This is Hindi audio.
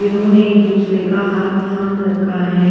जिन्होंने एक दूसरे का हाथ थाम रखा है।